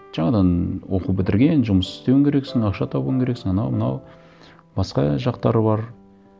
жаңадан оқу бітірген жұмыс істеуің керексің ақша табуың керексің анау мынау басқа жақтары бар